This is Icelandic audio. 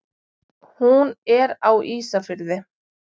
Hún er á Ísafirði.